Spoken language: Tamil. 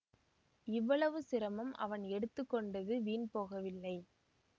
இவ்வளவு சிரமம் அவன் எடுத்து கொண்டது வீண் போகவில்லை